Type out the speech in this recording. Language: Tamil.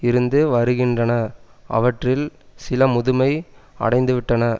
இருந்து வருகின்றன அவற்றில் சில முதுமை அடைந்துவிட்டன